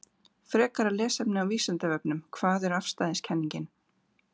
Frekara lesefni á Vísindavefnum: Hvað er afstæðiskenningin?